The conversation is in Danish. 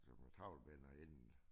Som trawlbinder inden